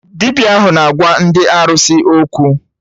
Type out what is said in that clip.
Dibịa ahụ na-agwa ndị arụsị okwu